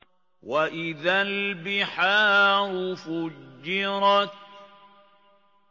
وَإِذَا الْبِحَارُ فُجِّرَتْ